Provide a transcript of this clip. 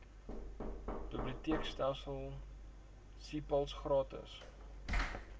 biblioteekstelsel cpals gratis